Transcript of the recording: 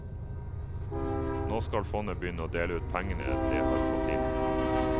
Nå skal fondet begynne å dele ut pengene det har fått inn.